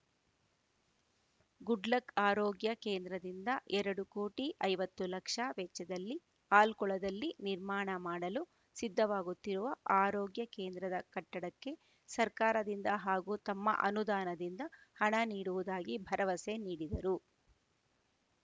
good luck ಆರೋಗ್ಯ ಕೇಂದ್ರದಿಂದ ಎರಡು ಕೋಟಿ ಐವತ್ತು ಲಕ್ಷ ವೆಚ್ಚದಲ್ಲಿ ಆಲ್ಕೊಳದಲ್ಲಿ ನಿರ್ಮಾಣ ಮಾಡಲು ಸಿದ್ದವಾಗುತ್ತಿರುವ ಆರೋಗ್ಯ ಕೇಂದ್ರದ ಕಟ್ಟಡಕ್ಕೆ ಸರ್ಕಾರದಿಂದ ಹಾಗೂ ತಮ್ಮ ಅನುದಾನದಿಂದ ಹಣ ನೀಡುವುದಾಗಿ ಭರವಸೆ ನೀಡಿದರು